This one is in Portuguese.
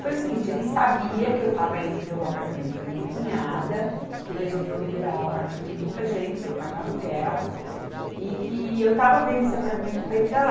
Foi o seguinte, ele sabia que eu estava indo ver o apartamento com a minha cunhada, que resolveu liberar o apartamento para a gente sem pagar aluguel, e que eu estava vendo esse apartamento para ir para lá.